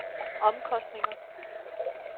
omkostninger